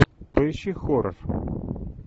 поищи хоррор